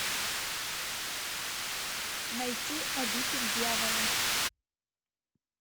найти обитель дьявола